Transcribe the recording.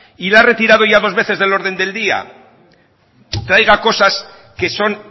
y la ha retirado ya dos veces del orden del día traiga cosas que son